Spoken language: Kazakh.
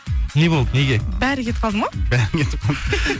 не болды неге бәрі кетіп қалды ма бәрі кетіп қалды